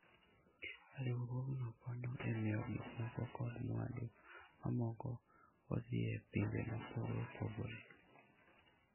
Riwruogno konyo e miyo gik moko kod mwandu mamoko odhi e pinje mopogore opogore.